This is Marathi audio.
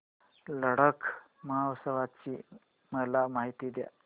लडाख महोत्सवाची मला माहिती दे